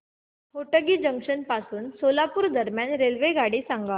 Hotgi junction पासून सोलापूर दरम्यान रेल्वेगाडी सांगा